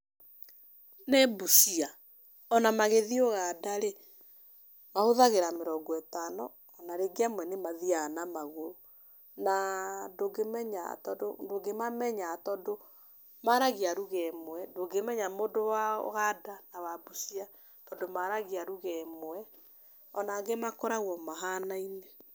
Nĩ Busia, ona magĩthiĩ ũganda rĩ mahũthagira mĩrongo ĩtano ona rĩngĩ amwe ni mathiaga na magũrũ. Na ndũngĩmamenya tondũ maragia lugha ĩmwe, ndũngĩmenya mũndũ wa ũganda na Busia tondũ maragia lugha ĩmwe. Ona angĩ makoragwo mahanaine.